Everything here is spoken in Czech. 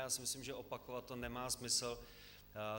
Já si myslím, že opakovat to nemá smysl.